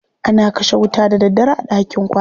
ana kashe wuta da daddare a ɗakin kwana.